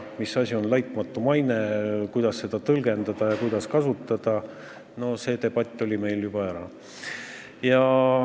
Mis asi üldse on laitmatu maine ja kuidas seda tõlgendada, see debatt oli meil juba ära.